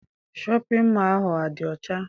Shọpịn mọọ ahụ adị ọcha?